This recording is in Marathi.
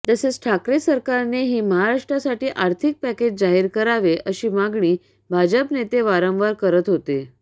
तसेच ठाकरे सरकारनेही महाराष्ट्रासाठी आर्थिक पॅकेज जाहीर करावे अशी मागणी भाजप नेते वारंवार करत होते